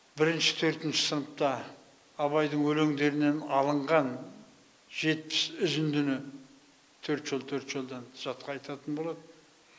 бірінші төртінші сыныпта абайдың өлеңдерінен алынған жетпіс үзіндіні төрт жол төрт жолдан жатқа айтатын болады